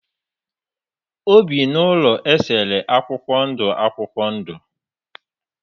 Ọ bi n'ụlọ a esere akwụkwọ ndụ akwụkwọ ndụ.